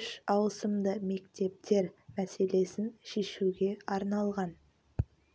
үш ауысымды мектептер мәселесін шешуге арналған